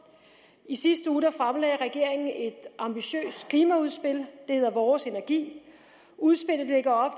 i sidste uge fremlagde regeringen et ambitiøst klimaudspil der hedder vores energi udspillet lægger op